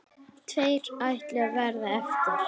Ætlar að leigja sér íbúð.